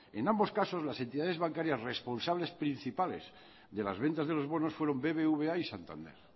en ambos casos las entidades bancarias responsables principales de las ventas de los bonos fueron bbva y santander